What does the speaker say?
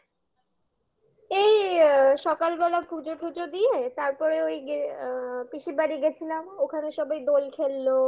এই অ্যা সকালবেলা পুজো টুজো দিয়ে তারপরে ওই অ্যা পিসির বাড়ি গেছিলাম ওখানে সবাই দোল খেললো